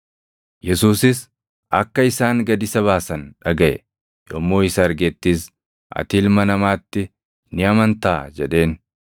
Yesuusis akka isaan gad isa baasan dhagaʼe; yommuu isa argettis, “Ati Ilma Namaatti ni amantaa?” jedheen.